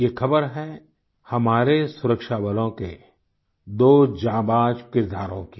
ये खबर है हमारे सुरक्षाबलों के दो जांबाज किरदारों की